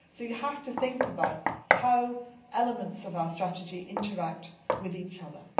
So you have to think about how elements of our strategy interact with each other.